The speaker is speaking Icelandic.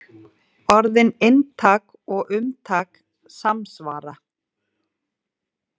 Orðin inntak og umtak samsvara.